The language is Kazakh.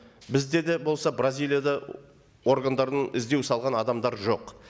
бізде де болса бразилияда органдарының іздеу салған адамдар жоқ